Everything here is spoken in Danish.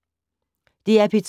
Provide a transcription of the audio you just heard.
DR P2